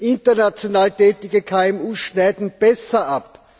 International tätige KMU schneiden besser ab.